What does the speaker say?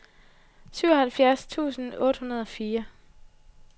syvoghalvfjerds tusind otte hundrede og fire